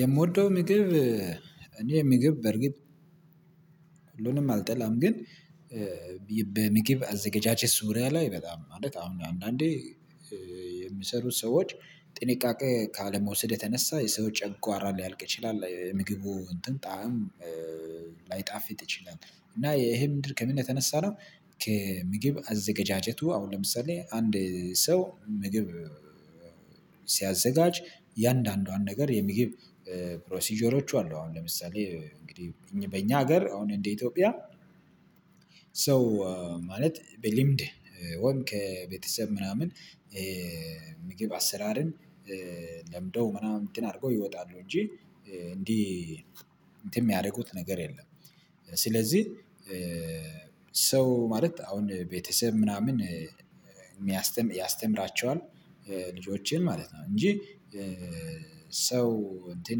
የምወደው ምግብ እኔ ምግብ በርግጥ ሁሉንም አልጠላም ግን በምግብ አዘጋጃጀት ዙሪያ ላይ በጣም አሁን አንዳንዴ የሚሰሩት ሰዎች ጥንቃቄ ካለመውሰድ የተነሳ የሰው ጨጓራ ሊያልቅ ይችላል የምግቡ እንትን ጣዕም ላይጣፍጥ ይችላል እና ይሄም ድርቅ ከምን የተነሳ ነው ከምግብ አዘገጃጀቱ አሁን ለምሳሌ አንድ ሰው ምግብ ሲያዘጋጅ የአንዳንዷን ነገር የምግብ ፕሮሲጀሮች አሉ አሁን ለምሳሌ እንግዲህ በእኛ ሀገር አሁን እንደ ኢትዮጵያ ሰው ማለት በልምድ ወን ከቤተሰብ ምናምን ምግብ አሰራርን ለምደው ምናምን እንትን አድርገው ይወጣሉ እንጂ እንዲህ እንትን የሚያደርጉት ነገር የለም ስለዚህ ሰው ማለት አሁን ቤተሰብ ምናምን ያስተምራቸዋል ልጆቼን ማለት ነው እንጂ ሰው እንትን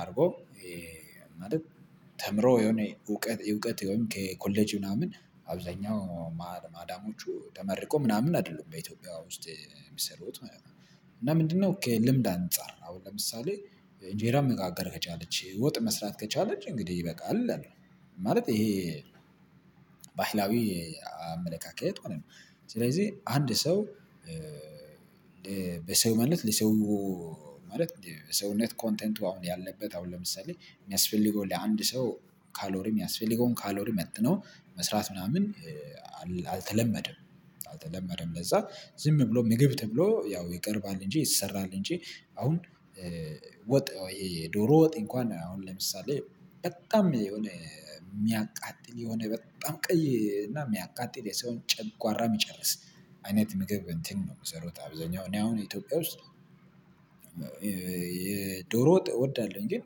አድርጎ ማለት ተምሮ የሆነ እውቀት እውቀት ወይም ከኮሌጅ ምናምን አብዛኛው ማዳሞቹ ተመርቆ ምናምን አይደለም በኢትዮጵያ ውስጥ የሚሰሩት ምናምን እና ምንድነው ልምድ አንፃር አሁን ለምሳሌ እንጀራ መጋገር ከቻለች ወጥ መስራት ከቻለች እንግዲህ ይበቃል እላለሁ ማለት ይሄ ባህላዊ አመለካከት ሆነ ነው ስለዚህ አንድ ሰው በሰው ማለት ለሰው ማለት በሰውነት ኮንቴንቱ አሁን ያለበት አሁን ለምሳሌ የሚያስፈልገው ለአንድ ሰው ካሎሪ የሚያስፈልገውን ካሎሪ መጥኖ መስራት ምናምን አልተለመደም አልተለመደም ለዛ ዝም ብሎ ምግብ ተብሎ ያው ይቀርባል እንጂ ይሰራል እንጂ አሁን ወጥ የዶሮ ወጥ እንኳን አሁን ለምሳሌ በጣም የሆነ የሚያቃጥል የሆነ በጣም ቀይ እና የሚያቃጥል የሰውን ጨጓራ የሚጨርስ አይነት ምግብ እንትን ነው የምሰሩት አብዛኛው እኔ አሁን ኢትዮጵያ ውስጥ የዶሮ ወጥ እወዳለሁኝ ግን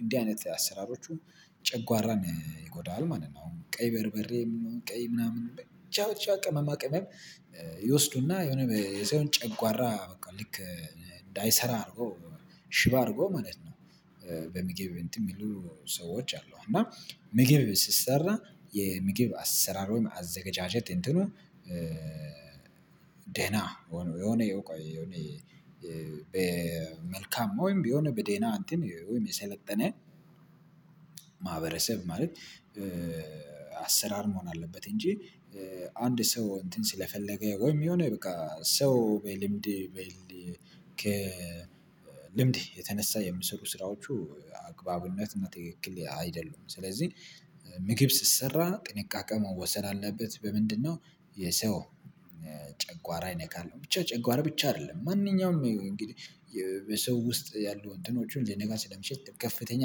እንዲህ አይነት አሰራሮቹ ጨጓራን ይጎዳሉ ማለት ነው ቀይ በርበሬ ቀይ ምናምን ብቻ ቻ ቅመማ ቅመም ይወስዱና የሆነ የሰውን ጨጓራ በቃ ልክ እንዳይሰራ አድርጎ ሽባ አድርጎ ማለት ነው በምግብ እንትን የሚሉ ሰዎች አሉ እና ምግብ ሲሰራ የምግብ አሰራር ወይም አዘጋጃጀት እንትኑ ደህና የሆነ የሆነ በመልካም ወይም የሆነ በዴና እንትን ወይም የሰለጠነ ማህበረሰብ ማለት አሰራር መሆን አለበት እንጂ አንድ ሰው እንትን ስለፈለገ ወይም የሆነ በቃ ሰው በልምድ በልምድ የተነሳ የሚሰሩ ስራዎቹ አግባብነት እና ትክክል አይደሉም ስለዚህ ምግብ ሲትሰራ ጥንቃቄ መወሰን አለበት በምንድነው የሰው ጨጓራ ይነካል ብቻ ጨጓራ ብቻ አይደለም ማንኛውም እንግዲህ በሰው ውስጥ ያሉ እንትኖቹን ሊነካ ስለሚችል ከፍተኛ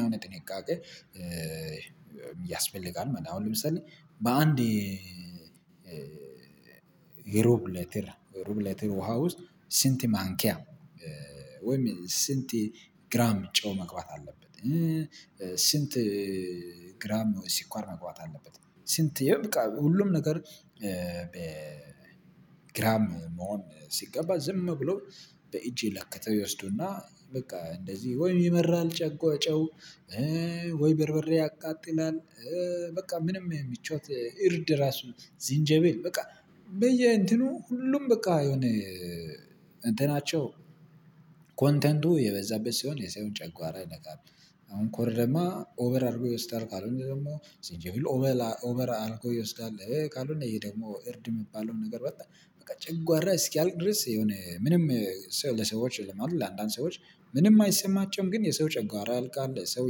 የሆነ ጥንቃቄ ያስፈልጋል አሁን ለምሳሌ በአንዴ የሮብ ለትር ሮብ ለትር ውሃ ውስጥ ስንት ማንኪያ ወይም ስንት ግራም ጨው መግባት አለበት ስንት ግራም ሲኳር መግባት አለበት ስንት ይሄ በቃ ሁሉም ነገር በ ግራም መሆን ሲገባ ዝም ብሎ በእጄ ለከተው ይወስዱና በቃ እንደዚህ ወይ ይመራል ጨጓ ጨው ወይ ብርብሬ ያቃጥናል በቃ ምንም ምቾት እርድ ራሱ ዚንጀቤል በቃ በየ እንትኑ ሁሉም በቃ የሆነ እንትናቸው ኮንተንቱ የበዛበት ሲሆን የሰው ጨጓራ ይነካል አሁን ኮር ደግሞ ኦቨር አድርጎ ይወስዳል ካልሆነ ደግሞ ሲቼ ሁሉ ኦቨር አልኮል ይወስዳል ካልሆነ ይሄ ደግሞ እርድ የሚባለውን ነገር በጣም በቃ ጭጓራ እስኪያልቅ ድረስ የሆነ ምንም ሰው ለሰዎች ለማለት ለአንዳንድ ሰዎች ምንም አይሰማቸውም ግን የሰው ጨጓራ ያልቃል ሰው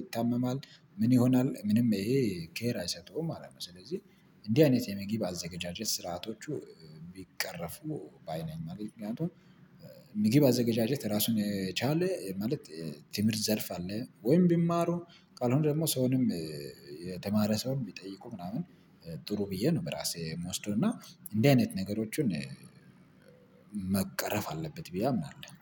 ይታመማል ምን ይሆናል ምንም ይሄ ኬር አይሰጠውም ማለት ነው ስለዚህ እንዲህ አይነት የምግብ አዘገጃጀት ስርዓቶቹ ቢቀረፉ ባይ ነኝ ምክንያቱም ምግብ አዘገጃጀት ራሱን የቻለ ማለት ትምህርት ዘርፍ አለ ወይም ቢማሩ ቃል አሁን ደግሞ ሰውንም የተማረ ሰውን ቢጠይቁ ምናምን ጥሩ ብዬ ነው በራሴ የምወስደው እና እንዲህ አይነት ነገሮችን መቀረፍ አለበት ብዬ አምናለሁ።